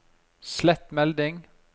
slett melding